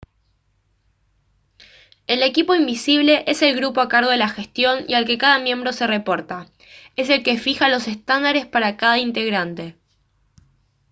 el «equipo invisible» es el grupo a cargo de la gestión y al que cada miembro se reporta. es el que fija los estándares para cada integrante